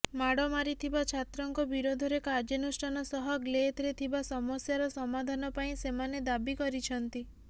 ମାଡ ମାରିଥିବା ଛାତ୍ରଙ୍କ ବିରୋଧରେ କାର୍ଯ୍ୟାନୁଷ୍ଠାନ ସହ ଗ୍ଧେଲରେ ଥିବା ସମସ୍ୟାର ସମାଧାନ ପାଇଁ ସେମାନେ ଦାବି କରିଛନ୍ତି